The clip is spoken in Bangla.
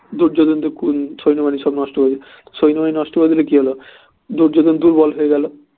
দুর্যোধন তো সৈন্যবাহিনী সব নষ্ট করে দিলো সৈন্যবাহিনী সব নষ্ট করে দিলে কি হলো দুর্যোধন দুর্বল হয়ে গেলো